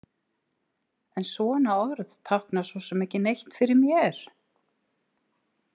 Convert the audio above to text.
En svona orð tákna svo sem ekki neitt fyrir mér.